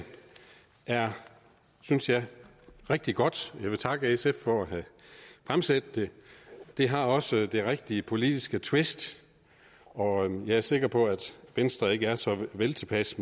synes jeg er rigtig godt og jeg vil takke sf for at have fremsat det det har også det rigtige politiske twist og jeg er sikker på at venstre ikke er så veltilpas